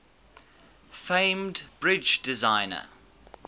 famed bridge designer